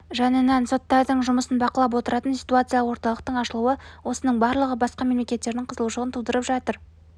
жанынан соттардың жұмысын бақылап отыратын ситуацияық орталықтың ашылуы осының барлығы басқа мемлекеттердің қызығушылығын тудырып жатыр